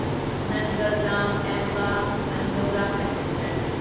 ꯅꯟꯒꯜ ꯗꯥꯝ ꯑꯦꯝꯕ ꯑꯟꯗꯧꯔꯥ ꯄꯦꯁꯦꯟꯖꯔ